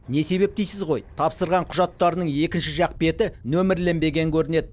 не себеп дейсіз ғой тапсырған құжаттарының екінші жақ беті нөмірленбеген көрінеді